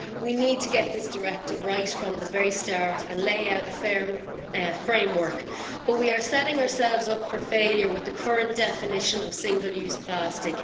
We need to get this directive right from the very start and lay out a firm framework, but we are setting ourselves up for failure with the current definition of single-use plastic.